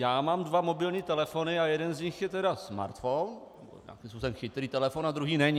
Já mám dva mobilní telefony a jeden z nich je tedy smartphone, nějakým způsobem chytrý telefon, a druhý není.